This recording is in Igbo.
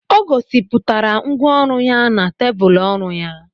O gosipụtara ngwá ọrụ ya na tebụl ọrụ ya